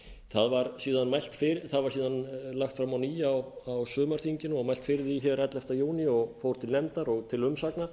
það var síðan lagt fram á ný á sumarþinginu og mælt fyrir því ellefta júní og fór til nefndar og til umsagnar